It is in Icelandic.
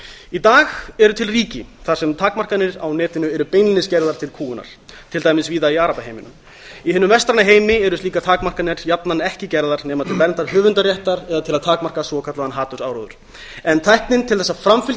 í dag eru til ríki þar sem takmarkanir á netinu eru beinlínis gerðar til kúgunar til dæmis víða í arabaheiminum í hinum vestræna heimi eru slíkar takmarkanir jafnan ekki gerðar nema til verndar höfundaréttar eða til að takmarka svokallaðan hatursáróður en tæknin til þess að framfylgja